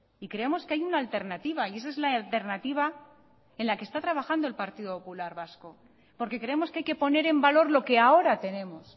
y creemos que hay una alternativa y esa es la alternativa en la que está trabajando el partido popular vasco porque creemos que hay que poner en valor lo que ahora tenemos